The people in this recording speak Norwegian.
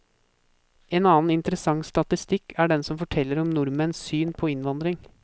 En annen interessant statistikk er den som forteller om nordmenns syn på innvandring.